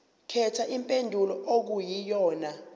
khetha impendulo okuyiyona